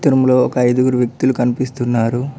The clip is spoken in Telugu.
చిత్రములో ఒక అయిదుగురు వ్యక్తులు కనిపిస్తున్నారు.